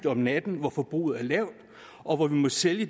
om natten hvor forbruget er lavt og hvor vi må sælge